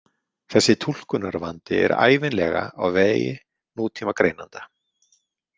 Þessi túlkunarvandi er ævinlega á vegi nútímagreinanda.